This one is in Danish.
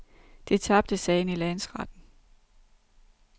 De tabte sagen i landsretten.